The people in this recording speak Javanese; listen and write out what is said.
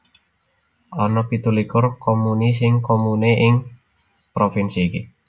Ana pitu likur comuni singular comune ing provinsi iki